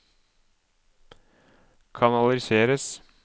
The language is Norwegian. kanaliseres